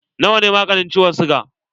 Na wa ne maganin ciwon siga?